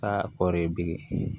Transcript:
Aa kɔɔri bilen